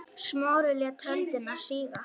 Smári lét höndina síga.